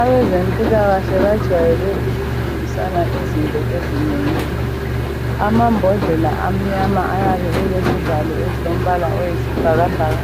Abezempilakahle bajwayele ukufundisana izinto ezinengi amambodlela amnyama ayabe elezivalo esilombala oyisibhakabhaka